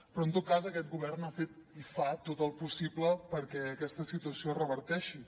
però en tot cas aquest govern ha fet i fa tot el possible perquè aquesta situació es reverteixi